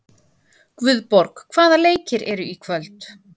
Guðborg, hvaða leikir eru í kvöld?